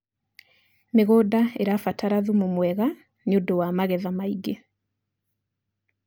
mĩgũnda irabatara thumu mwega nĩũndũ wa magetha maĩngi